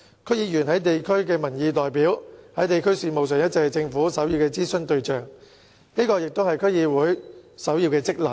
區議員是地區民意代表，在地區事務上一直是政府首要的諮詢對象，這也是區議會的首要職能。